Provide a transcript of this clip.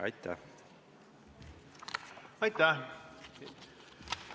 Aitäh!